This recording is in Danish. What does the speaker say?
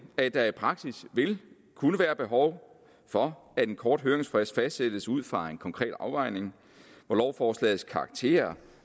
at der i praksis vil kunne være behov for at en kort høringsfrist fastsættes ud fra en konkret afvejning hvor lovforslagets karakter